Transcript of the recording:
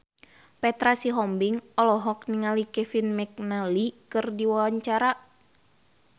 Petra Sihombing olohok ningali Kevin McNally keur diwawancara